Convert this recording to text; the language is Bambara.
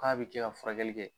K'a bɛ kɛ ka furakɛli kɛ.